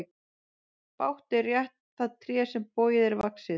Bágt er rétta það tré sem bogið er vaxið.